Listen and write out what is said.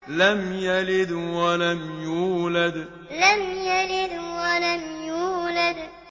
لَمْ يَلِدْ وَلَمْ يُولَدْ لَمْ يَلِدْ وَلَمْ يُولَدْ